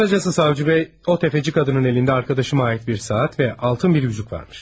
Qısacası Savcı bəy, o təfəçi qadının əlində arkadaşıma ait bir saat və altın bir üzük varmış.